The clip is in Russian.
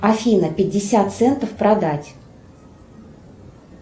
афина пятьдесят центов продать